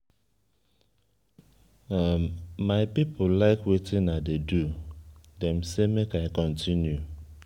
my people like wetin i dey do dey say make i continue.